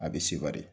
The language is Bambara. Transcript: A bɛ sewa de